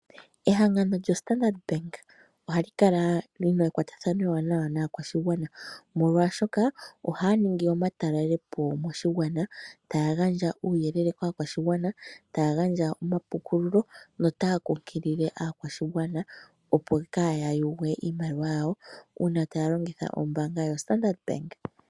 Ehangano lyoStandard Bank ohali kala li na ekwatathano ewanawa naakwashigwana, molwashoka ohaya ningi omatalele po moshigwana. Taya gandja uuyelele kaakwashigwana, taya gandja omapukululo notaya kunkilile aakwashigwana, opo kaaya yugwe iimaliwa yawo, uuna taya longitha ombaanga yoStandard Bank.